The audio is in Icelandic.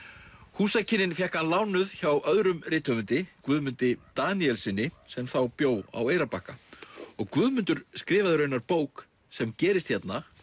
húsakynnin fékk hann lánuð hjá öðrum rithöfundi Guðmundi Daníelssyni sem þá bjó á Eyrarbakka og Guðmundur skrifaði raunar bók sem gerist hérna